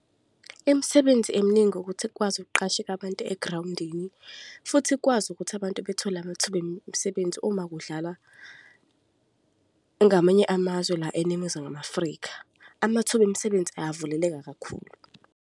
Imisebenzi eminingi ukuthi kukwazi ukuqasheka abantu egrawundini futhi kukwazi ukuthi abantu bethole amathuba emisebenzi uma kudlalwa ngamanye amazwe la eNingizimu Afrika. Amathuba emisebenzi ayavuleleka kakhulu.